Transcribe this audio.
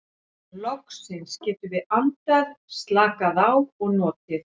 Loksins getum við andað, slakað á og notið.